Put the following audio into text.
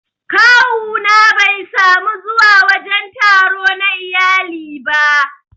Kawu na Bai samu zuwa wajen taro na iyali ba